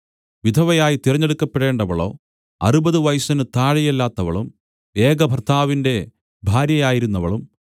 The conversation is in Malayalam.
വിധവയായി തിരഞ്ഞെടുക്കപ്പെടേണ്ടവളോ അറുപതു വയസ്സിന് താഴെയല്ലാത്തവളും ഏകഭർത്താവിന്റെ ഭാര്യയായിരുന്നവളും